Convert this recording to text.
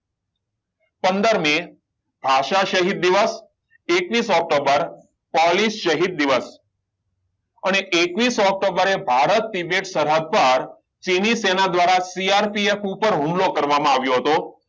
પંદર મેં ભાષા શહીદ દિવસ એકવીસ ઓક્ટોબર પોલિસ શહીદ દિવસ અને એકવીસ ઓક્ટોબરે ભારત કે જે શરહદ પર ચીની સેના દ્વારા CRPF ઉપર હુમલો કરવામાં આવ્યો હતો